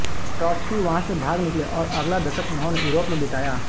Trotsky वहाँ से भाग निकले और अगला दशक उन्होंने युरोप में बिताया